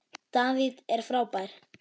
David er frábær.